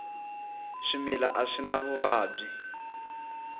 swimila a swi na vuvabyi